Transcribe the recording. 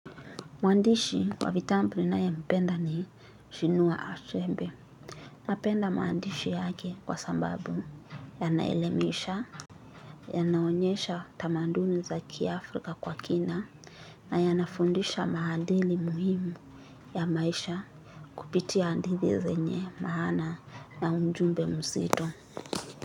Mwandishi wa vitabu ninayempenda ni chinua achebe. Napenda maandishi yake kwa sababu yanaelimisha, yanaonyesha tamaduni za kiafrika kwa kina, na yanafundisha maadili muhimu ya maisha kupitia hadithi zenye maana na ujumbe mzito.